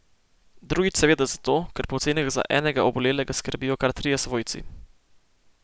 Drugič seveda zato, ker po ocenah za enega obolelega skrbijo kar trije svojci.